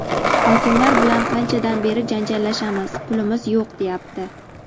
Hokimiyatlar bilan qanchadan beri janjallashamiz, "pulimiz yo‘q", deyapti.